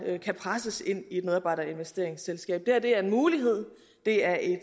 der kan presses ind i et medarbejderinvesteringsselskab det her er en mulighed det er et